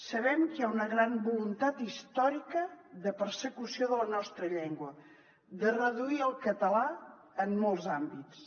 sabem que hi ha una gran voluntat històrica de persecució de la nostra llengua de reduir el català en molts àmbits